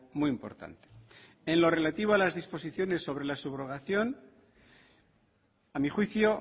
muy importante en lo relativo a las disposiciones sobre la subrogación a mi juicio